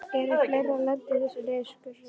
Eru fleiri að lenda í þessum niðurskurði?